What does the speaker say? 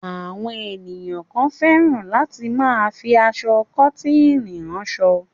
Àwọn ènìyàn kan fẹ́ràn láti máa fi aṣọ kọ́tíìnì ránṣọ.